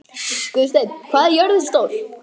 Guðsteinn, hvað er jörðin stór?